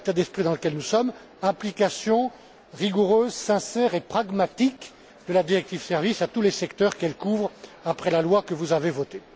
Voilà l'état d'esprit dans lequel nous sommes application rigoureuse, sincère et pragmatique de la directive sur les services à tous les secteurs qu'elle couvre, selon le texte que vous avez voté.